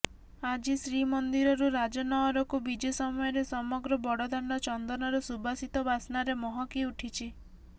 ଆଜି ଶ୍ରୀମନ୍ଦିରରୁ ରାଜନଅରକୁ ବିଜେ ସମୟରେ ସମଗ୍ର ବଡ଼ଦାଣ୍ଡ ଚନ୍ଦନର ସୁବାସିତ ବାସ୍ନାରେ ମହକି ଉଠିଛି